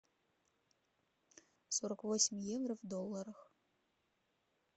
сорок восемь евро в долларах